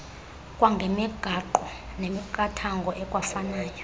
kwangemigaqo nemiqathango ekwafanayo